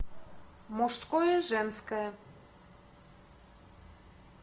мужское женское